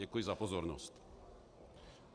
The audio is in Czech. Děkuji za pozornost.